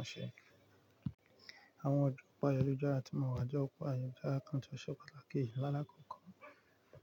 Àṣẹ. Àwọn ọjọ́ ọ̀pá ayẹyẹ ọjọ́ àrà tí mò ń wá, jọ́ ọ̀pá ayẹyẹ ọjọ́ àrà kan tó ṣọ́pàlátaki yìí lálákòókò.